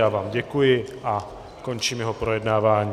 Já vám děkuji a končím jeho projednávání.